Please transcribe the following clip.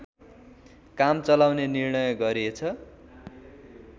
काम चलाउने निर्णय गरिएछ